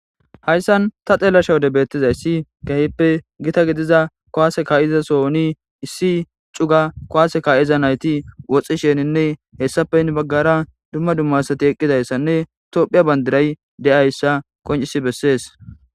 Hayssan ta xeella shawode beettizayssi gahippe gita gidiza kowase ka7iza sooni issi cuga kowaase ka7iza nayti woxxi sheninne hessapen baggara dumma dummasati eqqidayssanne tophiya bandiray de7ayssa qoncisi bessees.